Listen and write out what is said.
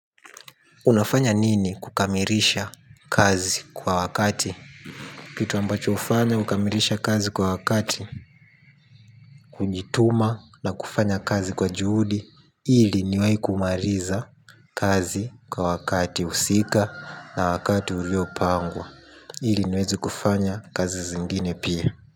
Unafanya nini kukamirisha kazi kwa wakati. Kitu ambacho ufanya kukamilisha kazi kwa wakati. Kujituma na kufanya kazi kwa juhudi. Ili niwai kumaliza kazi kwa wakati husika na wakati uliopangwa. Ili niwezi kufanya kazi zingine pia.